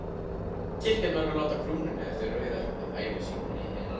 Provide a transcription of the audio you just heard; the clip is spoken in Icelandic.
Kirkjan verður að láta krúnunni eftir auðæfi sín.